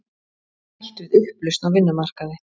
Hætt við upplausn á vinnumarkaði